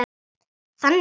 Þannig séð.